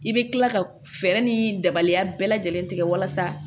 I bɛ kila ka fɛɛrɛ ni daba bɛɛ lajɛlen tigɛ walasa